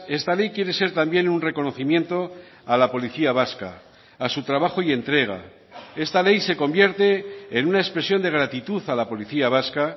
esta ley quiere ser también un reconocimiento a la policía vasca a su trabajo y entrega esta ley se convierte en una expresión de gratitud a la policía vasca